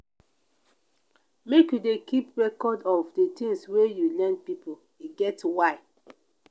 make you dey keep record of di tins wey you lend pipo e get why.